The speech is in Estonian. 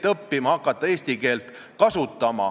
Toomas Jürgenstein, juhtivkomisjoni ettekandja, palun!